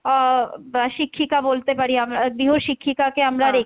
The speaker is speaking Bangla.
আহ বা শিক্ষিকা বলতে পারি আমরা গৃহ শিক্ষিকা কে আমরা,